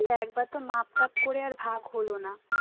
ওইতো একবার তো মাপ টাপ করে আর ভাগ হোল না